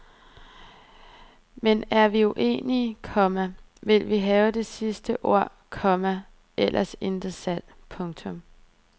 Men er vi uenige, komma vil vi have det sidste ord, komma ellers intet salg. punktum